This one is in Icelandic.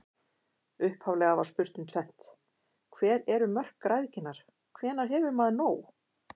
Upphaflega var spurt um tvennt: Hver eru mörk græðginnar, hvenær hefur maður nóg?